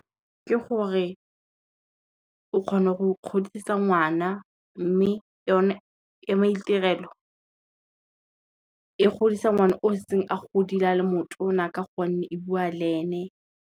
Ke gore, o kgone go godisa ngwana mme yone ya maitirelo, e godisa ngwana o setse a godile a le motona ka gonne e bua le ene.